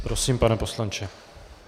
Prosím, pane poslanče.